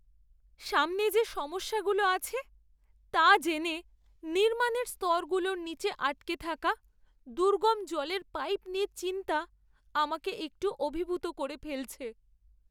সামনে যে সমস্যাগুলো আছে, তা জেনে নির্মাণের স্তরগুলোর নিচে আটকে থাকা দুর্গম জলের পাইপ নিয়ে চিন্তা আমাকে একটু অভিভূত করে ফেলছে।